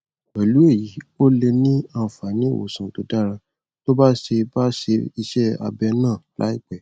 pẹlú èyí ó lè ní àǹfààní ìwòsàn tó dára tó bá ṣe bá ṣe iṣẹ abẹ náà láìpẹ